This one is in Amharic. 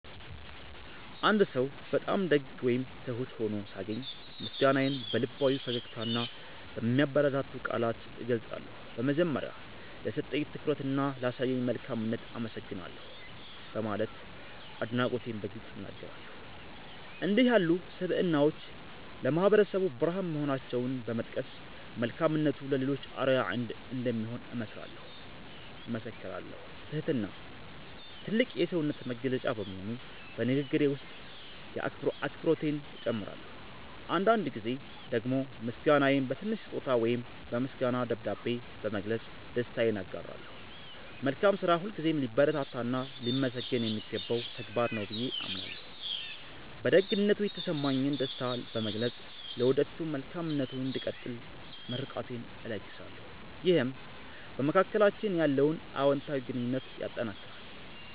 አንድ ሰው በጣም ደግ ወይም ትሁት ሆኖ ሳገኝ፣ ምስጋናዬን በልባዊ ፈገግታና በሚያበረታቱ ቃላት እገልጻለሁ። በመጀመሪያ፣ "ለሰጠኝ ትኩረትና ላሳየኝ መልካምነት አመሰግናለሁ" በማለት አድናቆቴን በግልጽ እናገራለሁ። እንዲህ ያሉ ስብዕናዎች ለማህበረሰቡ ብርሃን መሆናቸውን በመጥቀስ፣ መልካምነቱ ለሌሎችም አርአያ እንደሚሆን እመሰክራለሁ። ትህትና ትልቅ የሰውነት መገለጫ በመሆኑ፣ በንግግሬ ውስጥ አክብሮቴን እጨምራለሁ። አንዳንድ ጊዜ ደግሞ ምስጋናዬን በትንሽ ስጦታ ወይም በምስጋና ደብዳቤ በመግለጽ ደስታዬን አጋራለሁ። መልካም ስራ ሁልጊዜም ሊበረታታና ሊመሰገን የሚገባው ተግባር ነው ብዬ አምናለሁ። በደግነቱ የተሰማኝን ደስታ በመግለጽ፣ ለወደፊቱም መልካምነቱ እንዲቀጥል ምርቃቴን እለግሳለሁ። ይህም በመካከላችን ያለውን አዎንታዊ ግንኙነት ያጠናክራል።